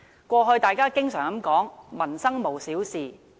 過去大家經常說，"民生無小事"。